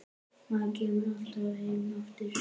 Maður kemur alltaf heim aftur